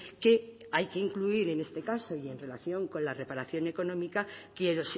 que hay que incluir en este caso y en relación con la reparación económica quiero